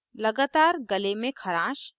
* लगातार गले में खरांश